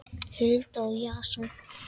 Hulda og Jason.